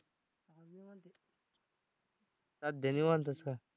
सध्या निवांतच का?